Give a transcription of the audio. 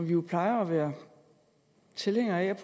vi plejer jo at være tilhængere af at